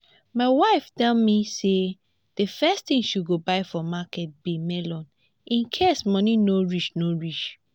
my wife tell me say the first thing she go buy for market be melon in case money no reach no reach